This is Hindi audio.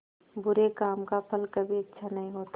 बुरे काम का फल कभी अच्छा नहीं होता